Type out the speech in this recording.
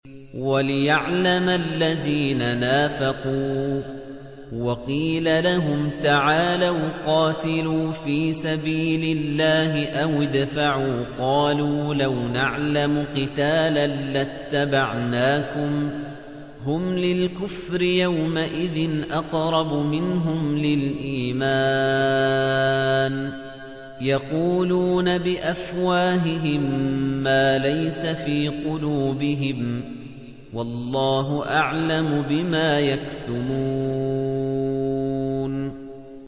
وَلِيَعْلَمَ الَّذِينَ نَافَقُوا ۚ وَقِيلَ لَهُمْ تَعَالَوْا قَاتِلُوا فِي سَبِيلِ اللَّهِ أَوِ ادْفَعُوا ۖ قَالُوا لَوْ نَعْلَمُ قِتَالًا لَّاتَّبَعْنَاكُمْ ۗ هُمْ لِلْكُفْرِ يَوْمَئِذٍ أَقْرَبُ مِنْهُمْ لِلْإِيمَانِ ۚ يَقُولُونَ بِأَفْوَاهِهِم مَّا لَيْسَ فِي قُلُوبِهِمْ ۗ وَاللَّهُ أَعْلَمُ بِمَا يَكْتُمُونَ